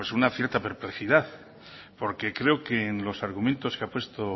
una cierta perplejidad porque creo que en los argumentos que ha puesto